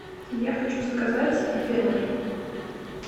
я хочу заказать апероль